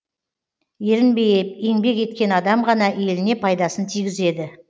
ерінбей еңбек еткен адам ғана еліне пайдасын тигізеді